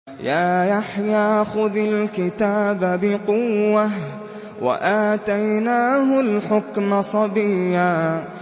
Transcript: يَا يَحْيَىٰ خُذِ الْكِتَابَ بِقُوَّةٍ ۖ وَآتَيْنَاهُ الْحُكْمَ صَبِيًّا